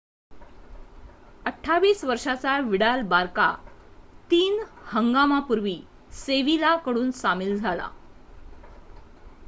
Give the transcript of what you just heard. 28 वर्षाचा Vidal Barca तीन 3 हंगामापूर्वी सेविला कडून सामील झाला